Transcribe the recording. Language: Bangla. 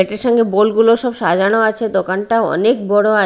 এটার সঙ্গে বোল -গুলোও সব সাজানো আছে দোকানটাও অনেক বড়ো আ--